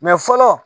fɔlɔ